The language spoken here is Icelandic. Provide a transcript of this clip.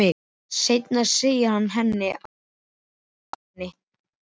Seinna segir hann henni að þetta sé vani.